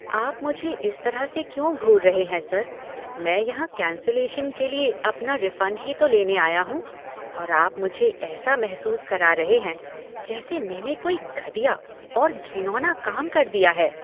आप मुझे इस तरह से क्यों घूर रहे हैं सर? मैं यहाँ कैंसिलेशन के लिए अपना रिफंड ही तो लेने आया हूँ और आप मुझे ऐसा महसूस करा रहे हैं जैसे मैंने कोई घटिया और घिनौना काम कर दिया है।